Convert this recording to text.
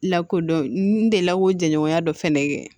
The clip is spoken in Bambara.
Lakodɔn n delila k'o jɛɲɔgɔnya dɔ fɛnɛ kɛ